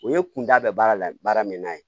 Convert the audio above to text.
O ye kun da bɛ baara la baara min na ye